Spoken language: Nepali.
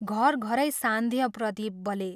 घर घरै सान्ध्य प्रदीप बले।